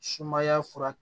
Sumaya fura